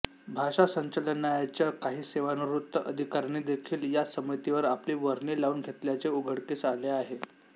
भाषा संचालनालयाच्या काही सेवानिवृत्त अधिकाऱ्यांनीदेखील या समितीवर आपली वर्णी लावून घेतल्याचे उघडकीस आले आहे